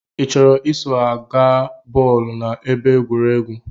I chọrọ iso ha gbaa bọọlu na ebe egwuregwu?